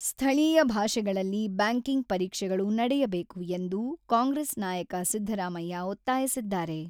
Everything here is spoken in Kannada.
ಸ್ಥಳೀಯ ಭಾಷೆಗಳಲ್ಲಿ ಬ್ಯಾಂಕಿಂಗ್ ಪರೀಕ್ಷೆಗಳು ನಡೆಯಬೇಕು ಎಂದು ಕಾಂಗ್ರೆಸ್ ನಾಯಕ ಸಿದ್ದರಾಮಯ್ಯ ಒತ್ತಾಯಿಸಿದ್ದಾರೆ.